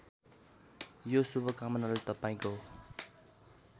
यो शुभकामनाले तपाईँको